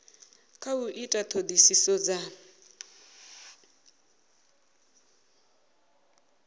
kha u ita ṱhoḓisiso dza